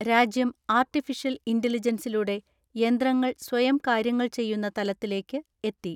രാജ്യം ആർട്ടിഫിഷൽ ഇന്റലിജെൻസിലൂടെ യന്ത്രങ്ങൾ സ്വയം കാര്യങ്ങൾ ചെയ്യുന്ന തലത്തിലേയ്ക്ക് എത്തി.